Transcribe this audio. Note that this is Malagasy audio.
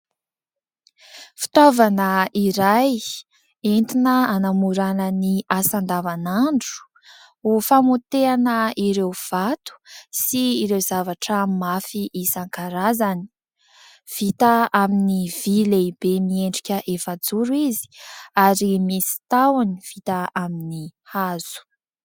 Fitaovana iray entina hanamorana ny asa andavanandro ho famotehana ireo vato sy ireo zavatra mafy isankarazany. Vita amin'ny vy lehibe miendrika efajoro izy ary misy tahony vita amin'ny hazo.